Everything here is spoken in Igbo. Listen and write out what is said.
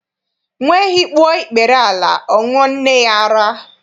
Nwa ehi kpuo ikpere ala, ọ ṅụọ nne ya ara.